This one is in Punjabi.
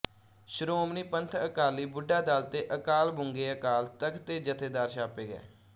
ਸ਼੍ਰੋਮਣੀ ਪੰਥ ਅਕਾਲੀ ਬੁੱਢਾ ਦਲ ਤੇ ਅਕਾਲ ਬੁੰਗੇਅਕਾਲ ਤਖਤ ਦੇ ਜਥੇਦਾਰ ਥਾਪੇ ਗਏ